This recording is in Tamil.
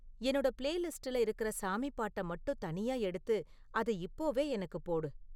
என்னோட பிளேலிஸ்ட்டுல இருக்குற சாமி பாட்ட மட்டும் தனியா எடுத்து அத இப்போவே எனக்குப் போடு